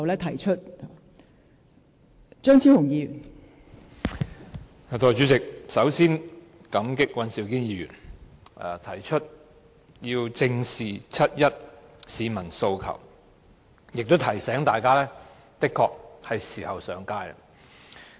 代理主席，首先感激尹兆堅議員提出"正視七一遊行市民的訴求"議案，亦提醒大家的確是時候上街。